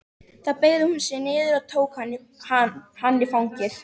Þá beygði hún sig niður og tók hann í fangið.